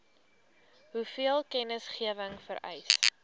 hoeveel kennisgewing vereis